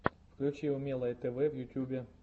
включи умелое тв в ютьюбе